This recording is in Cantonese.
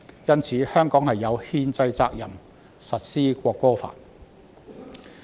因此，香港有憲制責任實施《國歌法》。